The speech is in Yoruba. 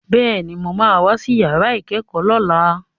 Bẹ́ẹ̀ni, mo ma wá sí yàrá ìkẹ́kọ̀ọ́ lọ́la